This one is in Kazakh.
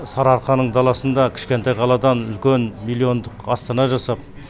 сарыарқаның даласында кішкентай қаладан үлкен миллиондық астана жасап